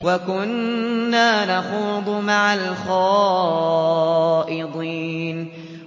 وَكُنَّا نَخُوضُ مَعَ الْخَائِضِينَ